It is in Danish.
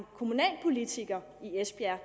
kommunalpolitiker i esbjerg